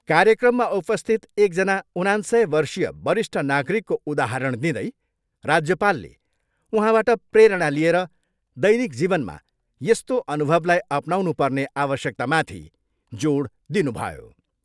कार्यक्रममा उपस्थित एकजना उनान्सय वर्षीय वरिष्ठ नागरिकको उदाहरण दिँदै राज्यपालले उहाँबाट प्रेरणा लिएर दैनिक जीवनमा यस्तो अनुभवलाई अपनाउनुपर्ने आवश्यकतामाथि जोड दिनुभयो।